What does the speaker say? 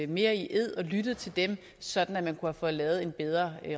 mere i ed og lyttet til dem sådan at man kunne have fået lavet en bedre